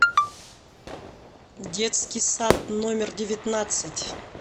детский сад номер девятнадцать